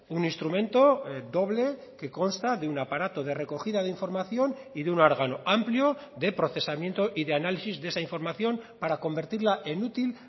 un instrumento doble que consta de un aparato de recogida de información y de un órgano amplio de procesamiento y de análisis de esa información para convertirla en útil